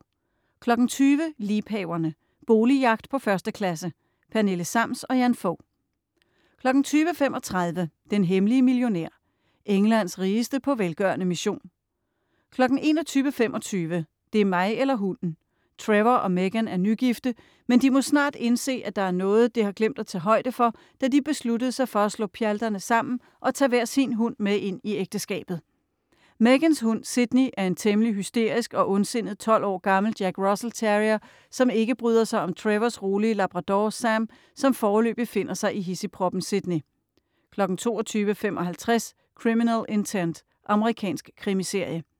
20.00 Liebhaverne. Boligjagt på 1. klasse. Pernille Sams & Jan Fog 20.35 Den hemmelige millionær. Englands rigeste på velgørende mission 21.25 Det er mig eller hunden! Trevor og Megan er nygifte, men de må snart indse, at der er noget, det har glemt at tage højde for, da de besluttede sig for at slå pjalterne sammen og tage hver sin hund med ind i ægteskabet. Megans hund, Sydney, er en temmelig hysterisk og ondsindet 12 år gammel jack russell terrier, som ikke bryder sig om Trevors rolige labrador, Sam, som foreløbig finder sig i hidsigproppen Sydney 22.55 Criminal Intent. Amerikansk krimiserie